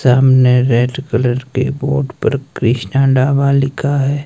सामने red colour के board पर कृष्णा ढाबा लिखा है।